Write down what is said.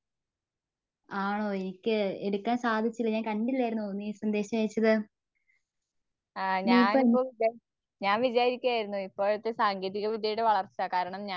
ആണോ എനിക്ക് എടുക്കാൻ സാധിച്ചില്ല ഞാൻ കണ്ടില്ലായിരുന്നു നീ സന്ദേശം അയച്ചത്. നിയപ്പനെന്തു